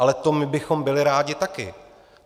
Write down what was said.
Ale to my bychom byli rádi taky.